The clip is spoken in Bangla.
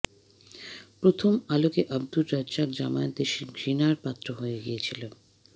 প্রথম আলোকে আবদুর রাজ্জাক জামায়াত দেশে ঘৃণার পাত্র হয়ে গিয়েছিল